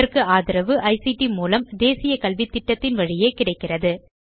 இதற்கு ஆதரவு ஐசிடி மூலம் தேசிய கல்வித்திட்டத்தின் வழியே கிடைக்கிறது